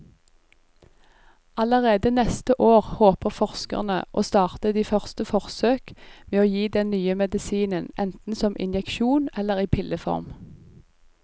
Allerede neste år håper forskerne å starte de første forsøk med å gi den nye medisinen enten som injeksjon eller i pilleform.